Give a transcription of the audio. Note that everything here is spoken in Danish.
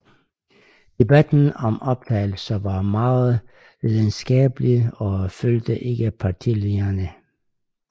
Debatten om optagelse var meget lidenskabelig og fulgte ikke partilinjerne